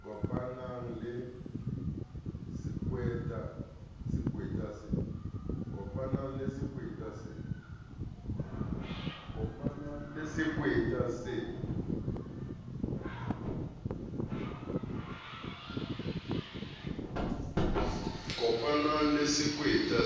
a kopanang le sekweta